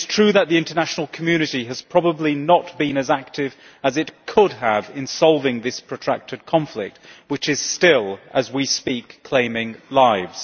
It is true that the international community has probably not been as active as it could have been in solving this protracted conflict which is still, as we speak, claiming lives.